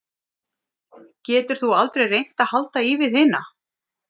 Getur þú aldrei reynt að halda í við hina?